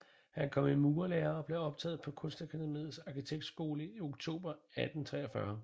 Han kom i murerlære og blev optaget på Kunstakademiets Arkitektskole i oktober 1843